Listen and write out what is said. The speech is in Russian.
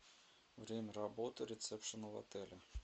время работы ресепшена в отеле